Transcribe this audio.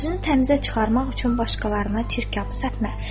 Özünü təmizə çıxarmaq üçün başqalarına çirkabı səpmə.